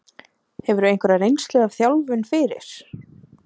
Hefurðu einhverja reynslu af þjálfun fyrir?